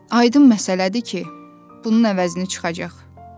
Aydın məsələdir ki, bunun əvəzini çıxacaq.